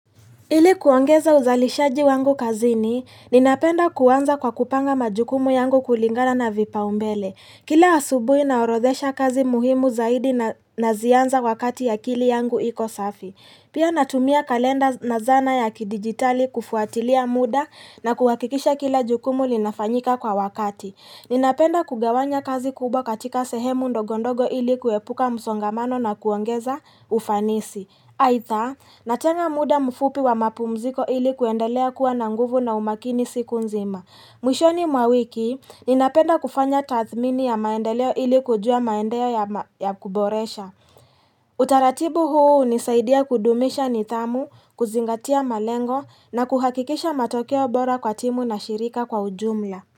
Ili kuongeza uzalishaji wangu kazini ninapenda kuanza kwa kupanga majukumu yangu kulingana na vipaumbele Kila asubuhi naorodhesha kazi muhimu zaidi na nazianza wakati akili yangu iko safi Pia natumia kalenda na zana ya kidigitali kufuatilia muda na kuhakikisha kila jukumu linafanyika kwa wakati Ninapenda kugawanya kazi kubwa katika sehemu ndogondogo ili kuepuka msongamano na kuongeza ufanisi Aitha natenga muda mfupi wa mapumziko ili kuendelea kuwa na nguvu na umakini siku nzima mwishoni mwa wiki ninapenda kufanya tathmini ya maendeleo ili kujua maendeleo ya kuboresha Utaratibu huu hunisaidia kudumisha nidhamu kuzingatia malengo na kuhakikisha matokeo bora kwa timu na shirika kwa ujumla.